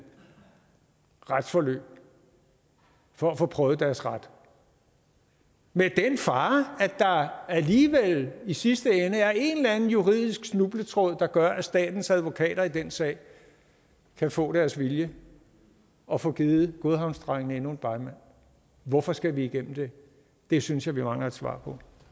retsforløb for at få prøvet deres ret med den fare at der alligevel i sidste ende er en eller anden juridisk snubletråd der gør at statens advokater i den sag kan få deres vilje og få givet godhavnsdrengene endnu en begmand hvorfor skal vi igennem det det synes jeg vi mangler et svar på